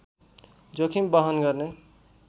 जोखिम बहन गर्ने